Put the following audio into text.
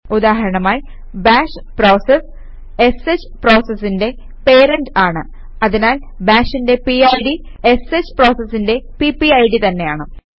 ഉദാഹരണമായി bash process sh പ്രോസസിന്റെ parent ആണ് അതിനാൽ ബാഷിന്റെ പിഡ് ഷ് പ്രോസസിന്റെ പിപിഡ് തന്നെയാണ്